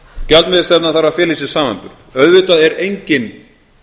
gjaldmiðilsstefnan þarf að fela í sér samanburð auðvitað er enginn